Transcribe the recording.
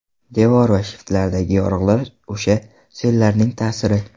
Devor va shiftlardagi yoriqlar o‘sha sellarning ta’siri.